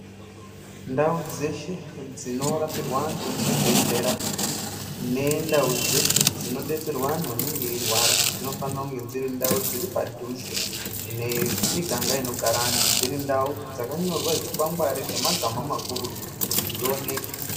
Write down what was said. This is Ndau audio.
Ndawu dzeshe dzinorapirwa wantu muzvibhedhlera nendawu dzeshe dzinobetserwa wantu wanenge weyirwara dzinofanirwa kunge dziri ndawu dziri padhuze nemiganga inogara wantu dziri ndawu dzakanyorwe zvikwangwari nemagama makurutu kuti zvioneke.